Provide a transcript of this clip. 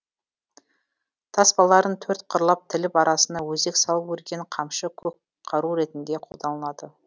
таспаларын төрт қырлап тіліп арасына өзек салып өрген қамшы көкқару ретінде қолданылады